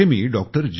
जिथे मी डॉ